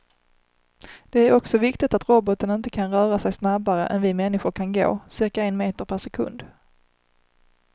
Det är också viktigt att roboten inte kan röra sig snabbare än vi människor kan gå, cirka en meter per sekund.